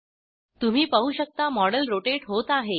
तुम्ही पाहू शकता मॉडेल रोटेट होत आहे